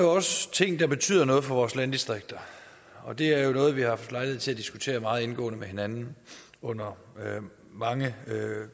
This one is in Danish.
også ting der betyder noget for vores landdistrikter og det er noget vi har haft lejlighed til at diskutere meget indgående med hinanden under mange